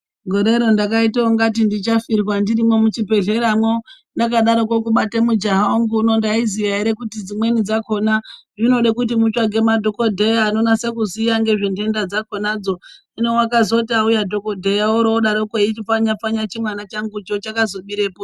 Gorero ndakaitangati ndichafirwa ndirimo muchibhedhleramo ndakadaroko kubata mujaha wangu ndaizviziva ere kuti dzimweni dzakona zvinode kuti mutsvage madhokoteya anonase kuziye ngezvendenda dzakonadzo. Hino wakazoti auya dhokoteya wakona odaroko aindipfanya pfanya chimwana changucho chakazomirepo ere .